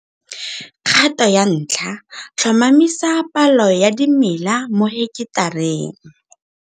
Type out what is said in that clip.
Kgato ya 1 tlhomamisa palo ya dimela mo heketareng.